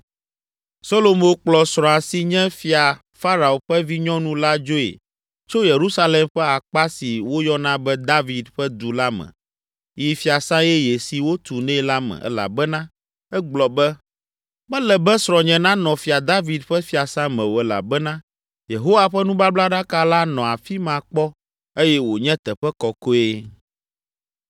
Solomo kplɔ srɔ̃a si nye Fia Farao ƒe vinyɔnu la dzoe tso Yerusalem ƒe akpa si woyɔna be David ƒe Du la me yi fiasã yeye si wotu nɛ la me elabena egblɔ be, “Mele be srɔ̃nye nanɔ Fia David ƒe fiasã me o elabena Yehowa ƒe nubablaɖaka la nɔ afi ma kpɔ eye wònye teƒe kɔkɔe.”